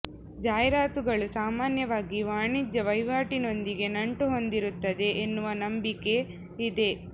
ಜಾಹೀರಾತುಗಳು ಸಾಮಾನ್ಯವಾಗಿ ವಾಣಿಜ್ಯ ವಹಿವಾಟಿನೊಂದಿಗೆ ನಂಟು ಹೊಂದಿರುತ್ತವೆ ಎನ್ನುವ ನಂಬಿಕೆ ಇದೆ